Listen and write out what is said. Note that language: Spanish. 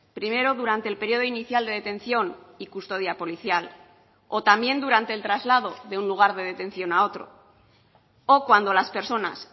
primero durante el periodo inicial de detención y custodia policial o también durante el traslado de un lugar de detención a otro o cuando las personas